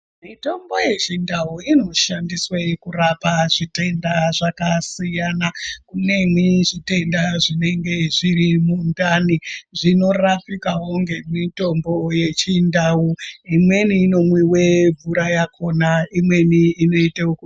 Mitombo yechindau inoshandiswe kurapa zvitenda zvakasiyana kuneni zvitenda zvinenge zviri mundani zvinorapikawo ngemutombo yechindau imweni inomwiwa mvura yakona imweni inote oku.....